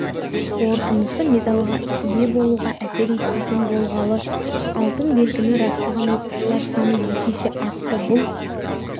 қорытындысы медальға ие болуға әсер етпейтін болғалы алтын белгіні растаған оқушылар саны екі есе артты бұл